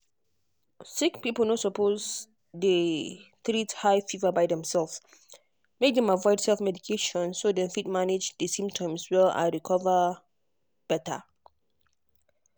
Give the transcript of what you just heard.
sick people no suppose treat high fever by themselves. make dem avoid self-medication so dem fit manage di symptoms well and recover better um